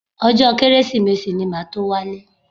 Ọjọ́ Kérésìmesì ni màá tó wálé